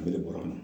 A bɛ de bɔra a la